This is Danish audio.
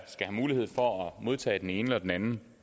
have mulighed for at modtage den ene eller den anden